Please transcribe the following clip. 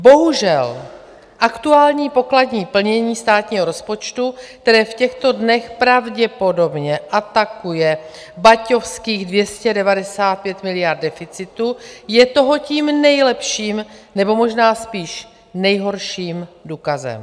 Bohužel aktuální pokladní plnění státního rozpočtu, které v těchto dnech pravděpodobně atakuje baťovských 295 miliard deficitu, je toho tím nejlepším, nebo možná spíš nejhorším, důkazem.